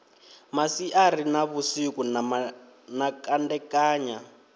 masiari na vhusiku na kandekanya